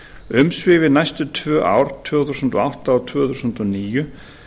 umsvifin næstu tvö ár tvö þúsund og átta og tvö þúsund og níu